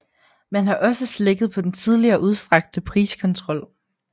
Man har også slækket på den tidligere udstrakte priskontrol